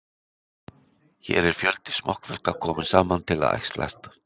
Hér er fjöldi smokkfiska kominn saman til að æxlast.